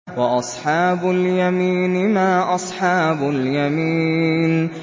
وَأَصْحَابُ الْيَمِينِ مَا أَصْحَابُ الْيَمِينِ